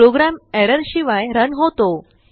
programme error शिवाय run होतो